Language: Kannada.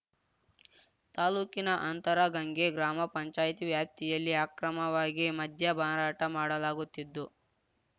ತಾಲೂಕಿನ ಅಂತರಗಂಗೆ ಗ್ರಾಮ ಪಂಚಾಯತಿ ವ್ಯಾಪ್ತಿಯಲ್ಲಿ ಅಕ್ರಮವಾಗಿ ಮದ್ಯ ಮಾರಾಟ ಮಾಡಲಾಗುತ್ತಿದ್ದು